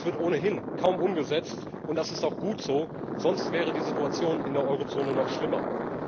Es wird ohnehin kaum umgesetzt, und das ist auch gut so, sonst wäre die Situation in der Eurozone noch schlimmer.